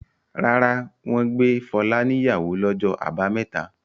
Rárá, wọ́n gbé Fọlá níyàwó lọjọ́ àbámẹ́ta.